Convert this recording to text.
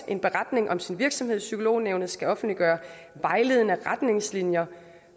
en beretning om sin virksomhed og psykolognævnet skal offentliggøre vejledende retningslinjer